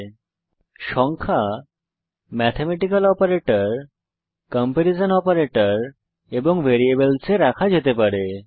যেমন নাম্বারসসংখ্যা ম্যাথমেটিক্যাল অপারেটরসহ কম্পারিসন অপারেটরসহ এবং ভ্যারিয়েবলস এ রাখা যেতে পারে